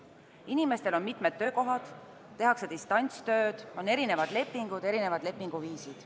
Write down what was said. Inimestel on mitmed töökohad, tehakse distantstööd, on erinevad lepingud ja lepinguviisid.